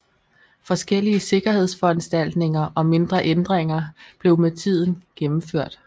Forskellige sikkerhedsforanstaltninger og mindre ændringer blev med tiden gennemført